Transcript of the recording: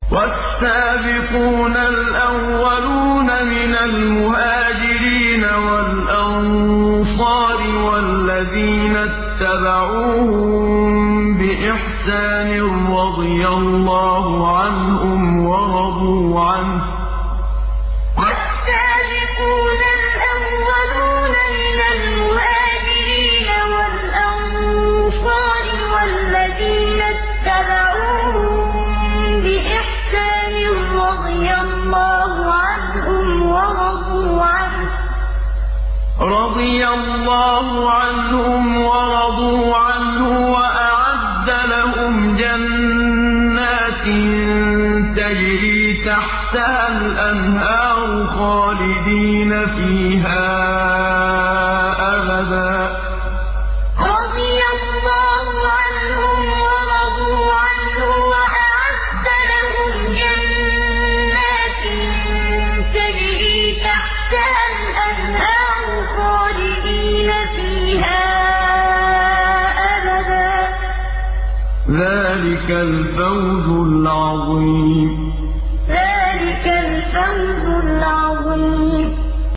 وَالسَّابِقُونَ الْأَوَّلُونَ مِنَ الْمُهَاجِرِينَ وَالْأَنصَارِ وَالَّذِينَ اتَّبَعُوهُم بِإِحْسَانٍ رَّضِيَ اللَّهُ عَنْهُمْ وَرَضُوا عَنْهُ وَأَعَدَّ لَهُمْ جَنَّاتٍ تَجْرِي تَحْتَهَا الْأَنْهَارُ خَالِدِينَ فِيهَا أَبَدًا ۚ ذَٰلِكَ الْفَوْزُ الْعَظِيمُ وَالسَّابِقُونَ الْأَوَّلُونَ مِنَ الْمُهَاجِرِينَ وَالْأَنصَارِ وَالَّذِينَ اتَّبَعُوهُم بِإِحْسَانٍ رَّضِيَ اللَّهُ عَنْهُمْ وَرَضُوا عَنْهُ وَأَعَدَّ لَهُمْ جَنَّاتٍ تَجْرِي تَحْتَهَا الْأَنْهَارُ خَالِدِينَ فِيهَا أَبَدًا ۚ ذَٰلِكَ الْفَوْزُ الْعَظِيمُ